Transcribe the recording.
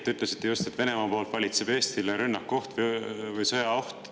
Te ütlesite just, et Venemaa poolt Eestit rünnakuoht või sõjaoht.